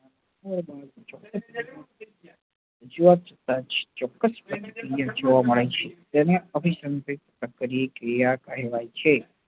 જોવા ચોક્કસ પાને ક્રિયા જોવા મળે છે તેને અભીસંધિક તત્પર્ય ક્રિયા કહેવાય છે